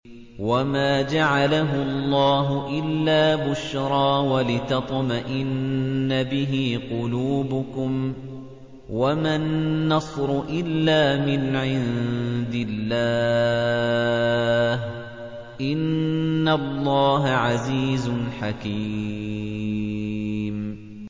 وَمَا جَعَلَهُ اللَّهُ إِلَّا بُشْرَىٰ وَلِتَطْمَئِنَّ بِهِ قُلُوبُكُمْ ۚ وَمَا النَّصْرُ إِلَّا مِنْ عِندِ اللَّهِ ۚ إِنَّ اللَّهَ عَزِيزٌ حَكِيمٌ